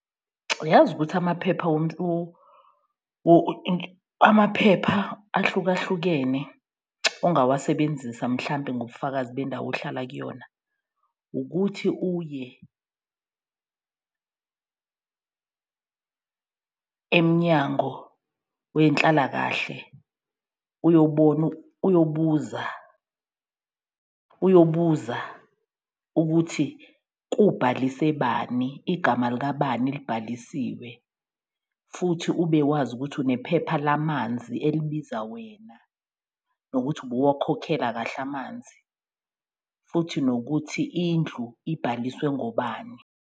Uyazi ukuthi amaphepha ahlukahlukene ongawasebenzisa mhlampe ngobufakazi bendawo ohlala kuyona, ukuthi uye eMnyango weNhlalakahle uyobona, uyobuza, uyobuza ukuthi kubhalise bani, igama likabani libhalisiwe. Futhi ube wazi ukuthi unephepha lamanzi elibiza wena, nokuthi ubuwokhokhela kahle amanzi futhi nokuthi indlu ibhaliswe ngobani.